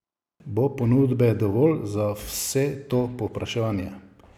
Bo ponudbe dovolj za vse to povpraševanje?